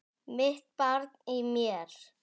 Mitt barn í mér.